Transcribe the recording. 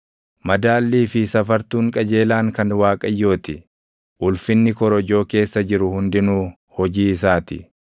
Madaallii fi safartuun qajeelaan kan Waaqayyoo ti; ulfinni korojoo keessa jiru hundinuu hojii isaa ti.